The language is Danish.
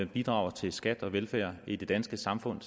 bidrager til skat og velfærd i det danske samfund